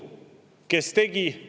Kes tegi?